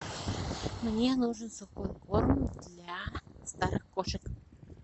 мне нужен сухой корм для старых кошек